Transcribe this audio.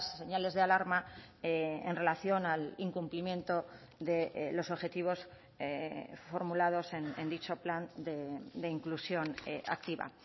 señales de alarma en relación al incumplimiento de los objetivos formulados en dicho plan de inclusión activa